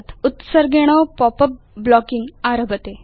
उत्सर्गेण pop उप् blocking आरभते